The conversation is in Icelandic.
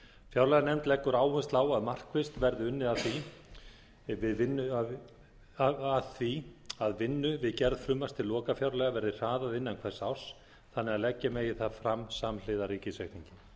fjárlaganefnd leggur áherslu á að markvisst verði unnið að því að vinnu við gerð frumvarps til lokafjárlaga verði hraðað innan hvers árs þannig að leggja megi það fram samhliða ríkisreikningi